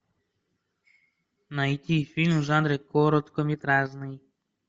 найти фильм в жанре короткометражный